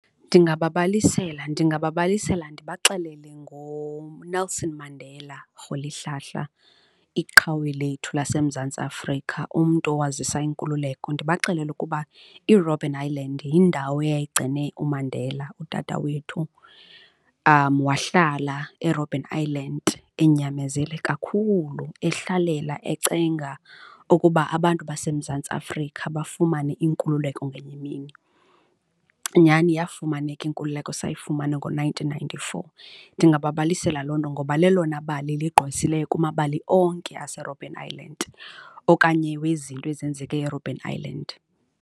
Ndingababalisela, ndingababalisela ndibaxelele ngoNelson Mandela Rholihlahla, iqhawe lethu laseMzantsi Afrika, umntu owazisa inkululeko. Ndibaxelele ukuba iRobben Island yindawo yayigcine uMandela utata wethu wahlala eRobben Island enyamezele kakhulu, ehlalela encenga ukuba abantu baseMzantsi Afrika bafumane inkululeko ngenye imini. Nyhani iyafumaneka inkululeko, sayifumana ngo-nineteen ninety-four. Ndingababalisela loo nto ngoba lelona bali ligqwesileyo kumabala onke aseRobben Island okanye wezinto ezenzeke eRobben Island.